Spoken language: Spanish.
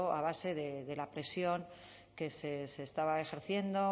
a base de la presión que se estaba ejerciendo